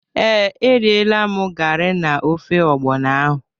Ee, erịela m gari na ofe ọgbọnọ ahụ.